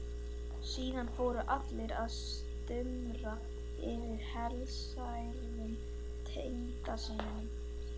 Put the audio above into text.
Síðan fóru allir að stumra yfir helsærðum tengdasyninum.